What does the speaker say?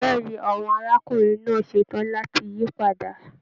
Bẹ̀ẹ́ni, àwọn arákùnrin náà ṣetán láti yí padà.